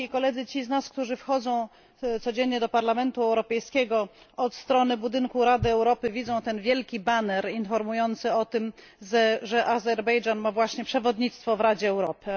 Ci z nas, którzy wchodzą codziennie do Parlamentu Europejskiego od strony budynku Rady Europy, widzą ten wielki baner informujący o tym, że Azerbejdżan ma właśnie przewodnictwo w Radzie Europy.